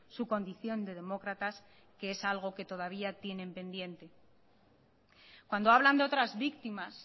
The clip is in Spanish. su condición de demócratas que es algo que todavía tienen pendiente cuando hablan de otras víctimas